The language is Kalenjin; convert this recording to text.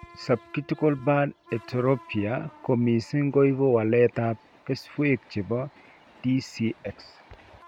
Subcortical band heterotopia ko mising koibu walet ab keswek chebo DCX